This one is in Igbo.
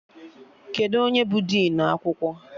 Kedụ onye bụ dịnụ akwụkwọ?